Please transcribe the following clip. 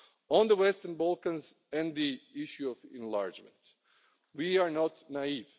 On the Western Balkans and the issue of enlargement, we are not naive.